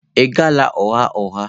Ị ghala ụgha ụgha.